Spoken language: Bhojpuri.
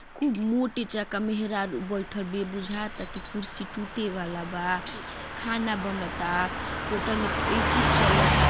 खूब मोटी चक मेहरारू बइठल बिया बुझात आ की कुर्सी टूटे वाला बा | खाना बनत आ होटल में ऐसी चलत आ |